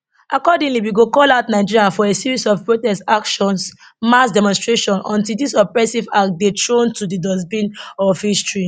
accordingly we go call out nigerians for a series of protest actions mass demonstrations until dis oppressive act dey thrown to di dustbin of history